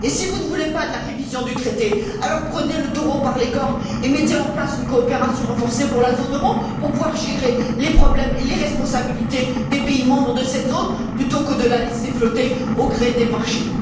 Si vous ne voulez pas de la révision du traité, prenez le taureau par les cornes et mettez en place une coopération renforcée pour la zone euro, afin de gérer les problèmes et les responsabilités des pays membres de cette zone, plutôt que de la laisser flotter au gré des marchés.